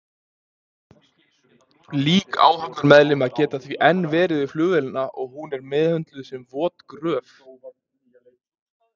Lík áhafnarmeðlima geta því enn verið við flugvélina og hún er meðhöndluð sem vot gröf.